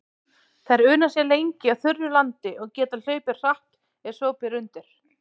Þær una sér lengi á þurru landi og geta hlaupið hratt ef svo ber undir.